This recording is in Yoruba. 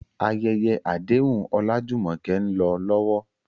Ayẹyẹ àdéhùn Olajumoke ń lọ lọ́wọ́.